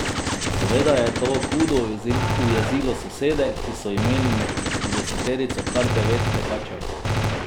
Seveda je to hudo ujezilo sosede, ki so imeli med trideseterico kar devet tekačev.